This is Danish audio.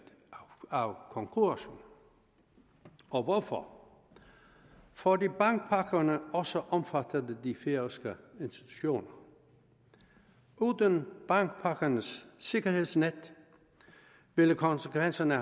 af konkursen og hvorfor fordi bankpakkerne også omfattede de færøske institutter uden bankpakkernes sikkerhedsnet ville konsekvenserne